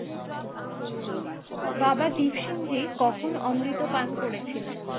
বাবা দিপসিংহি কখন অমৃত পান করেছিলেন?